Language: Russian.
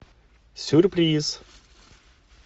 сюрприз